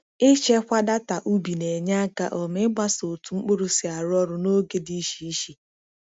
Ịchekwa data ubi na-enye aka um ịgbaso otu mkpụrụ si arụ ọrụ n’oge dị iche iche.